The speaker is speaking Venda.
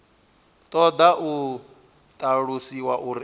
ṱoḓa u ṱalusiwa uri a